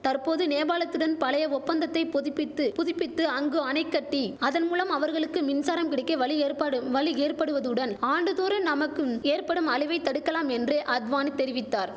தற்போது நேபாளத்துடன் பழைய ஒப்பந்தத்தை பொதிபித்து புதுப்பித்து அங்கு அணைகட்டி அதன் மூலம் அவர்களுக்கு மின்சாரம் கிடைக்க வழி ஏற்பாடு வழி ஏற்படுவதுடன் ஆண்டுதோறும் நமக்கும் ஏற்படும் அழிவை தடுக்கலாம் என்று அத்வானி தெரிவித்தார்